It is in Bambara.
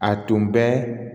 A tun bɛ